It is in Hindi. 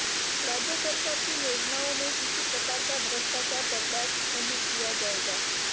राज्य सरकार की योजनाओं में किसी प्रकार का भ्रष्टाचार बर्दाश्त नहीं किया जाएगा